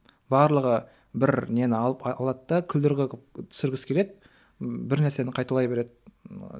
барлығы бір нені алып алады да күлдіргі қылып түсіргісі келеді бір нәрсені қайталай береді